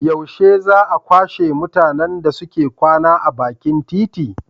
Yaushe za a kwashe mutanen da suke kwana a bakin titi?